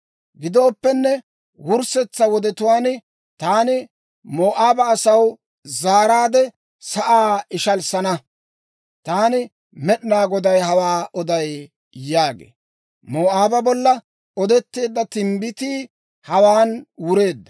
«Gidooppenne, wurssetsa wodetuwaan taani Moo'aaba asaw zaaraadde sa'aa ishalissana. Taani Med'inaa Goday hawaa oday» yaagee. Moo'aaba bolla odetteedda timbbitii hawaan wureedda.